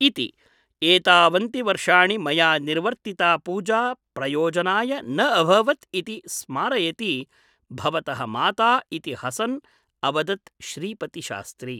इति । एतावन्ति वर्षाणि मया निर्वर्तिता पूजा प्रयोजनाय न अभवत् इति स्मारयति भवतः माता इति हसन् अवदत् श्रीपतिशास्त्री ।